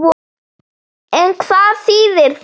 En hvað þýðir það?